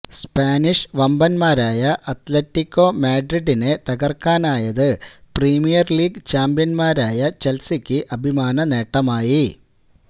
Spanish വമ്പന്മാരായ Atletico മാഡ്രിഡിനെ തകര്ക്കാനായത് പ്രീമിയര് ലീഗ് ചാമ്പ്യന്മാരായ ചെല്സിക്ക് അഭിമാന നേട്ടമായി